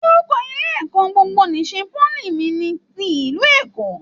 Orúkọ ilé ẹ̀kọ́ gbogbo n'isè poly mí ní tí ìlú Èkó.